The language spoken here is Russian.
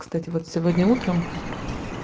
кстати вот сегодня утром